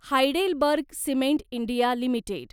Heidelberg cement India limited